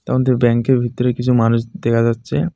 তারমধ্যে ব্যাংকের ভেতরে কিছু মানুষ দেখা যাচ্ছে.